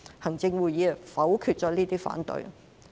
行政會議否決了這些反對。